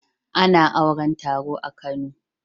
A na auran taro a kano